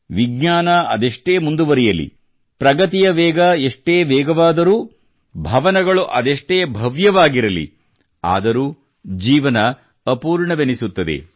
ವಿಜ್ಞಾನ ಅದೆಷ್ಟೇ ಮುಂದುವರಿಯಲಿ ಪ್ರಗತಿಯ ವೇಗ ಎಷ್ಟೇ ವೇಗವಾದರೂ ಭವನಗಳು ಅದೆಷ್ಟೇ ಭವ್ಯವಾಗಿರಲಿ ಆದರೂ ಜೀವನ ಅಪೂರ್ಣವೆನಿಸುತ್ತದೆ